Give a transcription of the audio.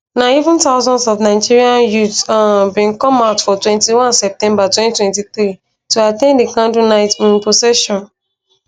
na even thousands of nigerian youths um bin come out for 21 september 2023 to at ten d di candlelight um procession